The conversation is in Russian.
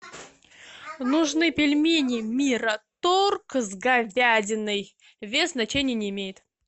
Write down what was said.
нужны пельмени мираторг с говядиной вес значения не имеет